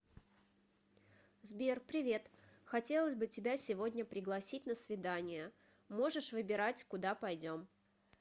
сбер привет хотелось бы тебя сегодня пригласить на свидание можешь выбирать куда пойдем